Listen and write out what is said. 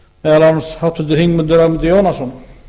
meðal annars háttvirtur þingmaður ögmundur jónasson